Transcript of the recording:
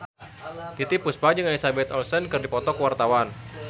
Titiek Puspa jeung Elizabeth Olsen keur dipoto ku wartawan